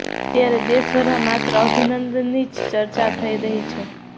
અત્યારે દેશ ભરમાં માત્ર અભિનંદનની જ ચર્ચા થઈ રહી છે